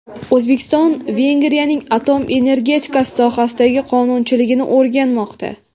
O‘zbekiston Vengriyaning atom energetikasi sohasidagi qonunchiligini o‘rganmoqda.